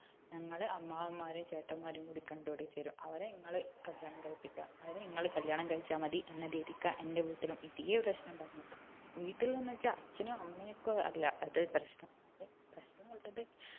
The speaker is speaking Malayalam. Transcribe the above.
ഞങ്ങള് അമ്മാവന്മാർ ചേട്ടന്മാരും കൂടി കണ്ട് പിടിച്ച് തരും അവരെ ഇങ്ങള് കല്യാണം കഴിപ്പിക്ക അവരെ ഇങ്ങള് കല്യാണം കഴിച്ച മതി എന്ന രീതിക്ക എന്റെ വീട്ടിലും ഇതേ പ്രശ്നം പറഞ്ഞത് വീട്ടിൽ എന്ന് വെച്ചാൽ അച്ഛനും അമ്മയ്ക്കും അല്ല അത് പ്രശ്നം അത് പ്രശ്നം ഉള്ളത്